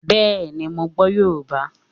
Bẹ́ẹ̀ni, mo gbọ́ Yorùbá